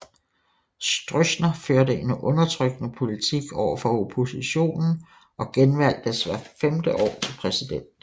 Stroessner førte en undertrykkende politik overfor oppositionen og genvalgtes hvert femte år til præsident